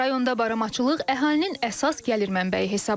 Rayonda baramaçılıq əhalinin əsas gəlir mənbəyi hesab olunur.